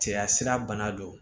Cɛya sira bana don